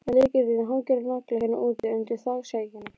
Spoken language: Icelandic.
En lykillinn hangir á nagla hérna úti, undir þakskegginu.